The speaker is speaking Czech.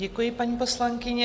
Děkuji, paní poslankyně.